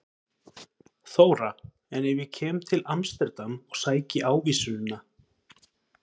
Þóra: En ef ég kem til Amsterdam og sæki ávísunina?